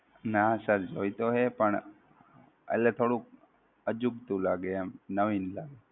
ના sir જોઈતો છે પણ એટલે થોડુંક અજુગતું લાગે એમ નવીન લાગે.